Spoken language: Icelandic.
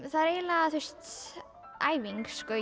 það er eiginlega bara æfing sko